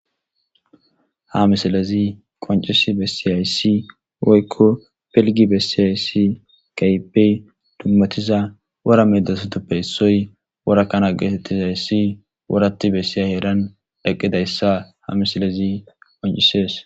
Ha misilezi qoncisi besizaysi woyko pilgi besizaysi keehippe dumati, a wora medisatappe issoy wora kana getetizaysi worati bessiza heeran eqidaysa ha misilezi qoncisees.